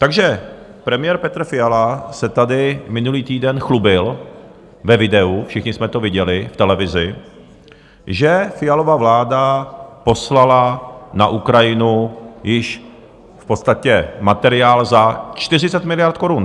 Takže premiér Petr Fiala se tady minulý týden chlubil ve videu, všichni jsme to viděli v televizi, že Fialova vláda poslala na Ukrajinu již v podstatě materiál za 40 miliard korun.